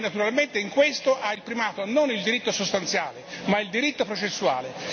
Naturalmente in questo ha il primato non il diritto sostanziale ma il diritto processuale.